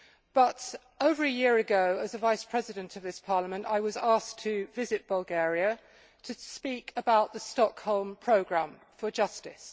But over a year ago, as a Vice President of this Parliament, I was asked to visit Bulgaria to speak about the Stockholm Programme for Justice.